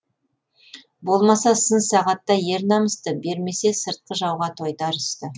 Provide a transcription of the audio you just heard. болмаса сын сағатта ер намысты бермесе сыртқы жауға тойтарысты